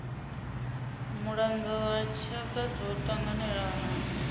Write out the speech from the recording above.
mulanga wa tshaka dzo tanganelanaho